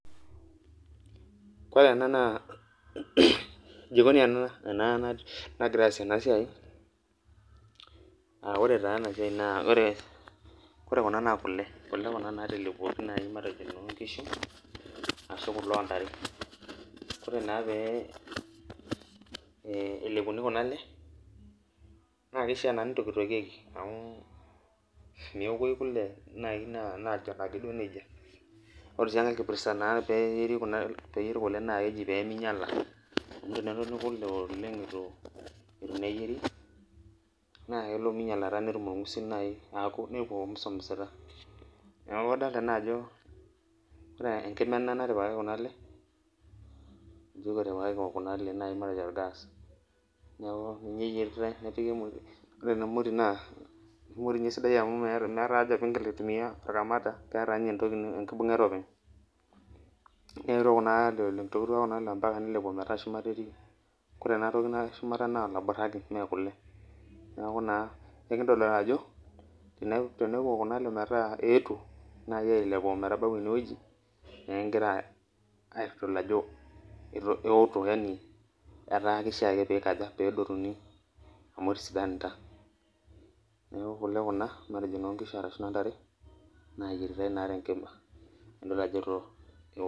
Kore ena naa jikoni ena nagirai aasie enasiai, ah ore taa enasiai naa ore kuna naa kule, kule kuna natelepuoki nai matejo nonkishu, ashu kule ontare. Ore naa pe elepuni kuna ale, na keishaa naa nitoktokieki amu meokoyu kule nai najon akeduo nejia. Ore si enkae kipirta naa peyieri kule na keji peminyala. Amu enetoni kule oleng itu neyieri, na kelo minyalata netum orng'usil nai niko misomisita. Neeku kadolta naajo enkima ena natipikaki kuna ale, ijo kuna ale matejo orgas, neku ninye eyieritai nepiki emoti. Ore ena moti naa kiko tinye esidai amu meeta aja pigil aitumia orkamata, keeta nye enkibung'et openy. Neetuo kunale oleng, itootua kunale nilepu ometaa shumata etii. Kore enatoki natii shumata naa olaburra ake mekule. Neeku naa ekintodol najo teniko kunale metaa eetuo, naa kilep apuo metabau enewueji, nekigira aitodol ajo eoto yani etaa kishaa ake pikaja, pedotuni amu tesidanta. Neeku kule kuna, matejo nonkishu arashu nontare, nayieritai naa tenkima. Nadol ajo eoto.